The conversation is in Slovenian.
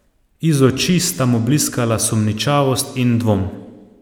Iz oči sta mu bliskala sumničavost in dvom.